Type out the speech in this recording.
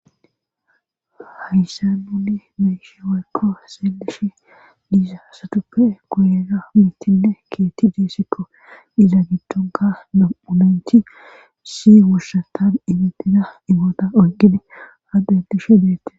hayssa nuni meishe waykko seeleshi diizasatuppe goyeega mittinne keetti diesikko iza giddonka nam7unencthi si wushsatan imitida imoota oyqidi addentishe deette